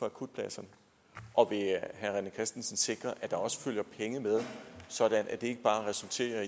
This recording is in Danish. akutplads og vil herre rené christensen sikre at der også følger penge med sådan at det ikke bare resulterer